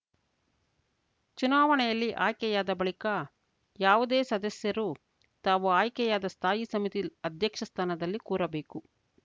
ಚುನಾವಣೆಯಲ್ಲಿ ಆಯ್ಕೆಯಾದ ಬಳಿಕ ಯಾವುದೇ ಸದಸ್ಯರು ತಾವು ಆಯ್ಕೆಯಾದ ಸ್ಥಾಯಿ ಸಮಿತಿ ಅಧ್ಯಕ್ಷ ಸ್ಥಾನದಲ್ಲಿ ಕೂರಬೇಕು